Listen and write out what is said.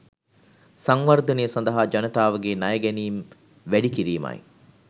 සංවර්ධනය සඳහා ජනතාවගේ ණය ගැනීම් වැඩි කිරීමයි.